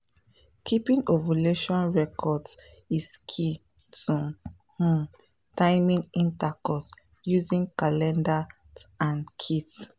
keeping ovulation records is key to um timing intercourse using calendars and kits